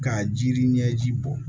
Ka jiri ɲɛji bɔ